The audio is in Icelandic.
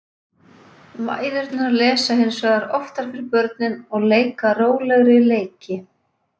Mæðurnar lesa hins vegar oftar fyrir börnin og leika rólegri leiki.